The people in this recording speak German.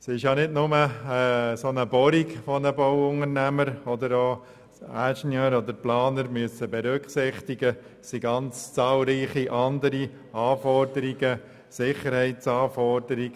Es ist nicht nur eine solche Bohrung, die von den Bauunternehmern, den Ingenieuren oder Planern zu berücksichtigen ist, sondern es sind zahlreiche Anforderungen einzuhalten, auch Sicherheitsanforderungen.